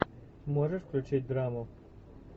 можешь включить драму